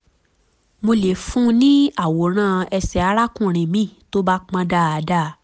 mo lè fún un ní àwòrán ẹsẹ̀ arákùnrin mi tó bá pọn dandan